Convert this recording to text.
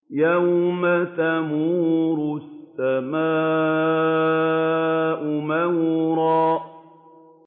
يَوْمَ تَمُورُ السَّمَاءُ مَوْرًا